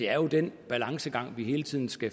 er jo den balancegang vi hele tiden skal